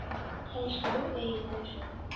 Elsku Auður.